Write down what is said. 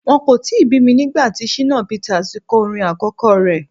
Wọ́n kò tíì bí mi nígbà tí Shina Peters kọ orin àkọ́kọ́ rẹ.